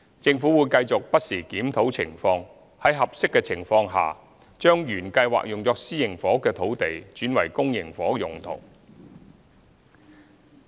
政府會繼續不時檢討情況，在合適的情況下將原計劃用作私營房屋的土地轉為公營房屋用途。